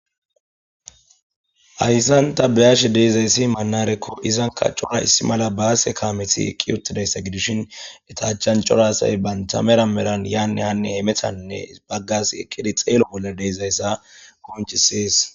Hayssan ta beashe deezayssi maanarakko izanka cora issi mala baase kaameti eqqi uttidayssa gidishin eta achan cora asay baynta mera meran yaanne haanne haymetanne bagga asi eqidi xeelo bolla deezayssa qonccisees.